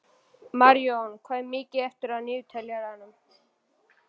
Marjón, hvað er mikið eftir af niðurteljaranum?